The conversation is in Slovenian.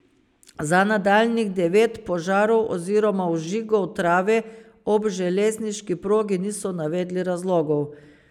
Za nadaljnjih devet požarov oziroma vžigov trave ob železniški progi niso navedli razlogov.